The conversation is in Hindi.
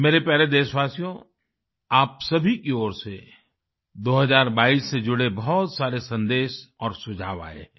मेरे प्यारे देशवासियो आप सभी की ओर से 2022 से जुड़े बहुत सारे सन्देश और सुझाव आए हैं